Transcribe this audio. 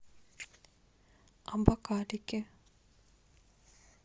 абакалики